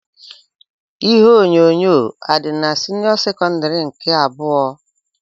Ihe onyonyo adị n'senio sekondari nke abụọ?